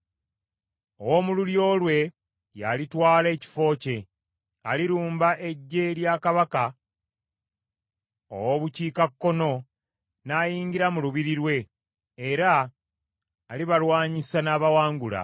“Ow’omu lulyo lwe, yaalitwala ekifo kye; alirumba eggye lya kabaka ow’obukiikakkono n’ayingira mu lubiri lwe, era alibalwanyisa n’abawangula.